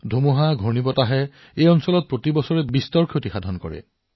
সেয়েহে এই জিলাত এনে বহুতো গাওঁ আছে যত উচ্চ সাগৰৰ ঢৌ আৰু ঘূৰ্ণীবতাহৰ সম্ভাৱনা আছে